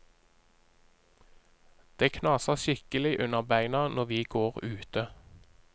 Det knaser skikkelig under beina når vi går ute.